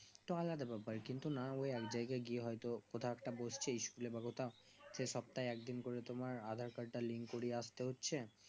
কিন্তু না ও এক জায়গায় গিয়ে হয় তো ওটা একটা বসছে school সেই সপ্তাহে এক দিন করে তোমার aadhar card তা link করিয়ে আস্তে হচ্ছে